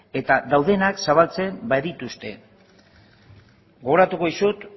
eta daudenak zabaltzen badituzte gogoratuko dizut